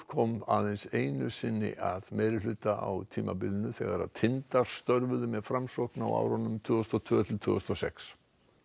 kom aðeins einu sinni að meirihluta á tímabilinu þegar tindar störfuðu með Framsókn á árunum tvö þúsund og tvö til tvö þúsund og sex